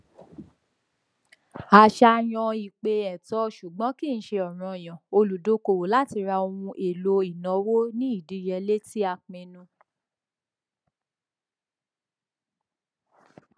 àṣàyàn ìpè ẹtọ ṣùgbọn kìí ṣe ọranyan olùdókòwò láti ra ohun èlò ìnáwó ní ìdíyelé tí a pinnu